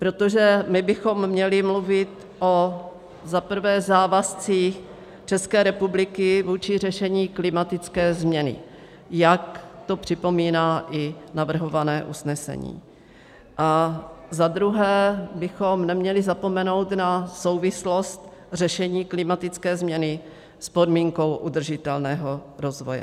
Protože my bychom měli mluvit o za prvé závazcích České republiky vůči řešení klimatické změny, jak to připomíná i navrhované usnesení, a za druhé bychom neměli zapomenout na souvislost řešení klimatické změny s podmínkou udržitelného rozvoje.